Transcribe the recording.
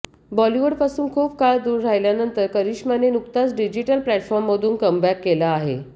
बॉलिवूडपासून खूप काळ दूर राहिल्यानंतर करिश्माने नुकताच डिजिटल प्लॅटफॉर्म मधून कमबॅक केला आहे